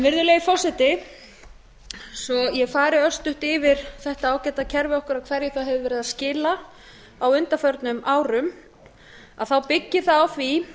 virðulegi forseti svo ég fari örstutt yfir þetta ágæta kerfi okkar og hverju það hefur verið að skila á undanförnum árum þá byggir það á því